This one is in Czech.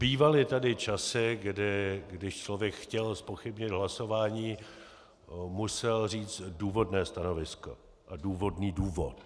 Bývaly tady časy, kdy když člověk chtěl zpochybnit hlasování, musel říct důvodné stanovisko a důvodný důvod.